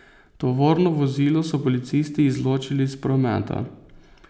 Tovorno vozilo so policisti izločili iz prometa.